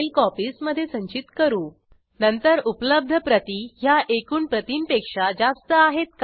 ग्रंथालय मॅनेजमेंट सिस्टीमसाठी एका प्रख्यात बहुराष्ट्रीय सॉफ्टवेअर कंपनीने त्यांच्या कॉर्पोरेट सामाजिक जबाबदारीतून योगदान दिले आहे